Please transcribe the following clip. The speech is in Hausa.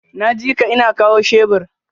Naji ka, ina kawo shebur.